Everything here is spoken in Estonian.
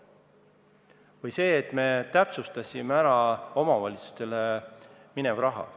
Või see, et me täpsustasime ära omavalitsustele mineva raha.